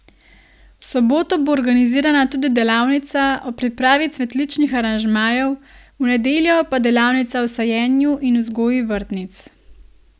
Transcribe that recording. V soboto bo organizirana tudi delavnica o pripravi cvetličnih aranžmajev, v nedeljo pa delavnica o sajenju in vzgoji vrtnic.